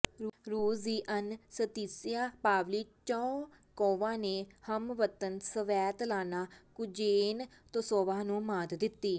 ਰੂਸ ਦੀ Anastasia Pavlyuchenkova ਨੇ ਹਮਵਤਨ ਸਵੈਤਲਾਨਾ ਕੁਜ਼ਨੈਤਸੋਵਾ ਨੂੰ ਮਾਤ ਦਿੱਤੀ